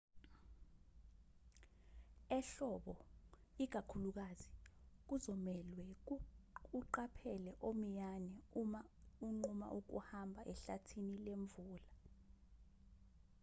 ehlobo ikakhulukazi kuzomelwe uqaphele omiyane uma unquma ukuhamba ehlathini lemvula